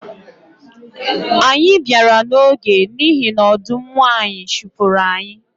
Anyị bịara n’oge n’ihi na ọdụm nwanyi chụpụrụ anyị